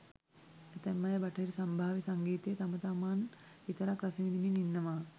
ඇතැම් අය බටහිර සම්භාව්‍ය සංගීතය තම තමන් විතරක් රස විඳිමින් ඉන්නවා.